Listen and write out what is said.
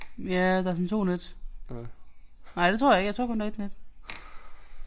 Ja der er sådan 2 net. Nej det tror jeg ikke jeg tror kun der er 1 net